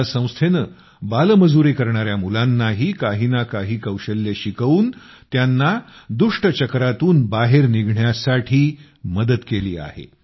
या संस्थेनं बाल मजुरी करणाऱ्या मुलांनाही काही ना काही कौशल्य शिकवून त्यांना दुष्टचक्रातून बाहेर निघण्यास मदत केली आहे